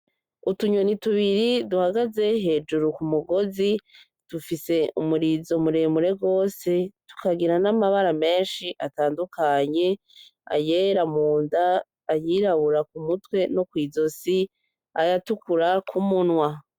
Utunyoni tubiri duhagaze hejuru kumugozi dufise umurizo muremure gose tukagira namabara menshi atandukanye ayera munda , ayirabura kumutwe no kwizosi ayatukura kumunwa.